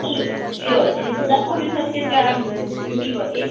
ଇଏ ଅଛିହମ୍ହେଇଥିଲାଗି ଭବିଷ୍ୟତ ଲାଗି ଯୁଗୀ କରି